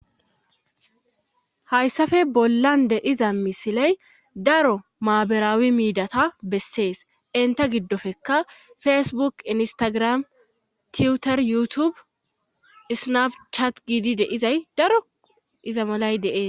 hayssafe bollan de iza misiley daro maaberaawi miidata bessees inta giddofeka fesbuk instagram tiutor yuutubu isnab chat giidi deizay daro iza malay deees